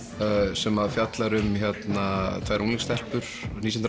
sem fjallar um tvær unglingsstelpur nítján